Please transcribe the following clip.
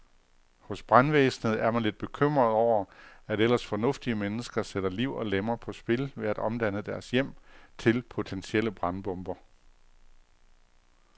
Hos brandvæsenet er man lidt bekymret over, at ellers fornuftige mennesker sætter liv og lemmer på spil ved at omdanne deres hjem til potentielle brandbomber.